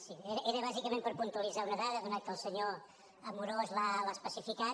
sí era bàsicament per puntualitzar una dada atès que el senyor amorós l’ha especificat